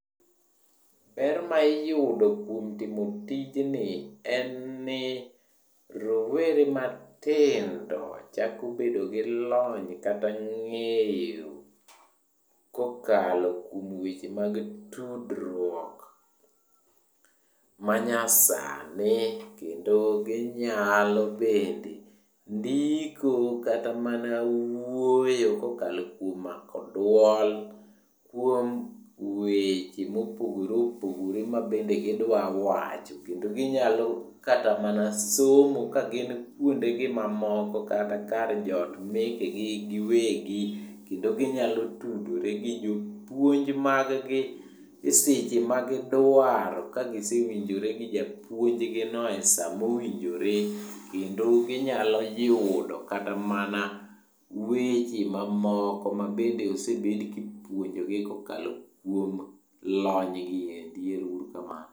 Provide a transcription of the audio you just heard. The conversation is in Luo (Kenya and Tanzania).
Ber ma iyudo kuom timo tijni en ni rowere matindo chako bedo gi lony kata ng'eyo kokalo kuom weche mag tudruok manyasani. Kendo ginyalo bende ndiko kata mana wuoyo kokalo kuom mako dwol kuom weche mopogore opogore mabende gidwa wacho. Kendo ginyalo kata mana somo kagin kwondegi mamoko kata kar joot mekegi giwegi kendo ginyalo tudore gi jopuonj maggi e seche magidwaro kagisewinjore gi japuonjgino e sa mowinjore kendo ginyalo yudo kata mana weche mamoko mabende osebed kipuonjogi kokalo kuom lonygi endi. Ero uru kamano.